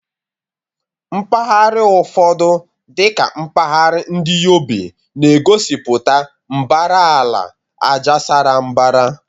Mpaghara ụfọdụ, dị ka mpahara ndi Yobe, na-egosipụta mbara ala ájá sara mbara.